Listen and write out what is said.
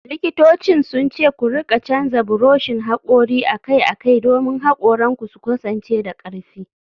Likitocin sun ce ku rika canza buroshin hakori akai-akai domin hakoranku su kasance da karfi.